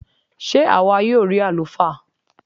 Sé àwa yóò rí àlùfáà?